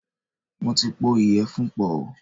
Mo ti pọ̀ ìyẹ̀fun pọ̀.